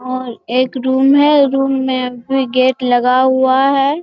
और एक रूम है रूम में भी गेट लगा हुआ है |